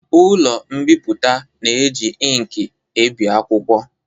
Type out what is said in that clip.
Ụlọ mbipụta na-eji inki ebi akwụkwọ